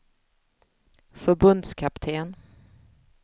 förbundskapten